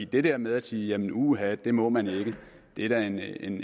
det her med at sige at uha det må man ikke det er da